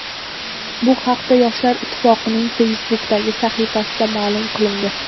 Bu haqda Yoshlar Ittifoqining Facebook’dagi sahifasida ma’lum qilindi .